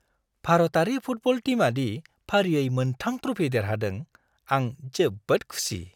भारतारि फुटबल टीमादि फारियै मोन 3 ट्रफी देरहादों, आं जोबोद खुसि।